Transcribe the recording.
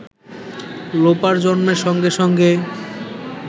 লোপার জন্মের সঙ্গে সঙ্গে